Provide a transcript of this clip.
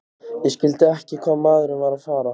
Ég skildi ekki hvað maðurinn var að fara.